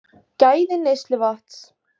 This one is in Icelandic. Gæði neysluvatns